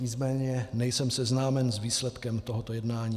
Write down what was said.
Nicméně nejsem seznámen s výsledkem tohoto jednání.